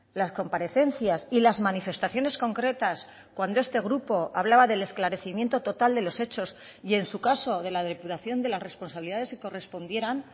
las comparecencias y las manifestaciones concretas cuando este grupo hablaba del esclarecimiento total de los hechos y en su caso de la depuración de las responsabilidades que correspondieran